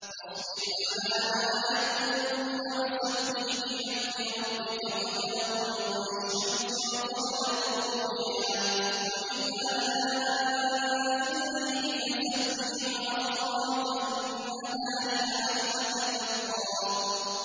فَاصْبِرْ عَلَىٰ مَا يَقُولُونَ وَسَبِّحْ بِحَمْدِ رَبِّكَ قَبْلَ طُلُوعِ الشَّمْسِ وَقَبْلَ غُرُوبِهَا ۖ وَمِنْ آنَاءِ اللَّيْلِ فَسَبِّحْ وَأَطْرَافَ النَّهَارِ لَعَلَّكَ تَرْضَىٰ